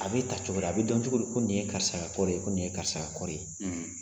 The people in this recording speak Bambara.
A bɛ ta cogo di a bɛ dɔn cogo di ko nin ye karisa ka kɔɔri ye ko nin ye karisa ka kɔɔri ye.